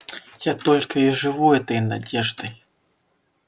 я только и живу этой надеждой